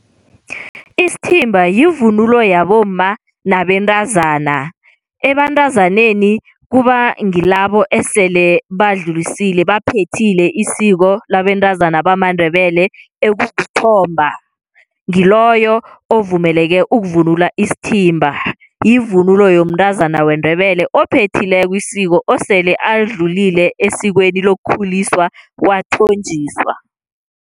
Isithimba yivunulo yabomma nabentazana. Ebantazaneni kuba ngilabo esele badlulisile baphethile isiko labentazana bamaNdebele ekukuthomba ngiloyo ovumeleke ukuvunula isithimba, yivunulo yomntazana weNdebele ophethileko isiko osele alidlulile esikweni lokukhuliswa wathonjiswa.